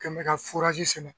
Kɛlen bɛ ka sɛnɛ.